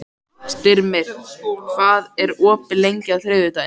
Styrmir, hvað er opið lengi á þriðjudaginn?